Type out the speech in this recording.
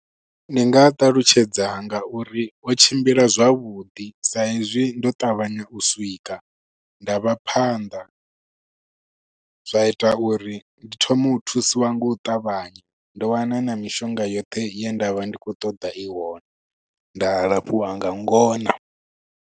Ndi nga a ṱalutshedza nga uri o tshimbila zwavhuḓi sa hezwi ndo ṱavhanya u swika, nda vha phanḓa. Zwa ita uri ndi thoma u thusiwa ngo u ṱavhanya. Ndo wana na mishonga yoṱhe ye ndavha ndi khou ṱoḓa i hone, nda lafhiwa nga ngona.